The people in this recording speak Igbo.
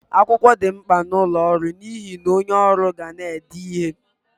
Akwụkwọ di mkpa n'ọlụ ọrụ n'ihe na onye ọrụ ga na-ede ihe.